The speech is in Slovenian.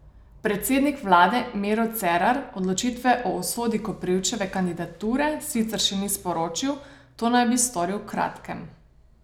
Predsednik vlade Miro Cerar odločitve o usodi Koprivčeve kandidature sicer še ni sporočil, to naj bi storil v kratkem.